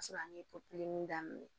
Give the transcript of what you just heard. Ka sɔrɔ an ye daminɛ